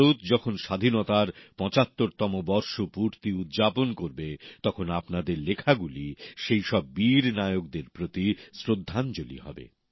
ভারত যখন স্বাধীনতার পঁচাত্তরতম বর্ষপূর্তি উদযাপন করবে তখন আপনাদের লেখাগুলি সেই সব বীর নায়কদের প্রতি শ্রদ্ধাঞ্জলি হবে